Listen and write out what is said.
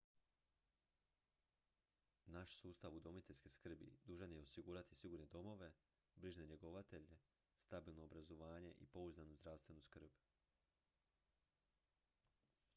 naš sustav udomiteljske skrbi dužan je osigurati sigurne domove brižne njegovatelje stabilno obrazovanje i pouzdanu zdravstvenu skrb